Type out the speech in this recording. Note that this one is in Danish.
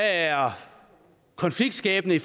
er konfliktskabende i